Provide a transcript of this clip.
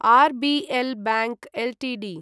RBL bank Ltd